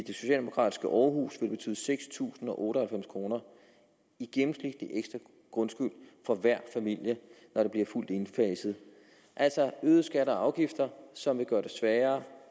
socialdemokratiske aarhus vil det betyde seks tusind og otte og halvfems kroner i gennemsnitlig ekstra grundskyld for hver familie når det bliver fuldt indfaset altså er øgede skatter og afgifter som vil gøre det sværere